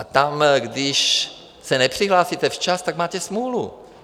A tam, když se nepřihlásíte včas, tak máte smůlu.